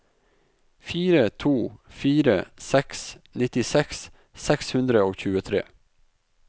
fire to fire seks nittiseks seks hundre og tjuetre